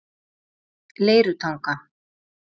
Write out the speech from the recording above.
Leirutanga